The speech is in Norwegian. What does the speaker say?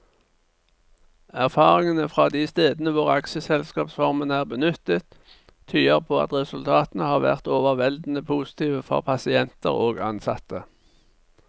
Erfaringene fra de stedene hvor aksjeselskapsformen er benyttet, tyder på at resultatene har vært overveldende positive for pasienter og ansatte.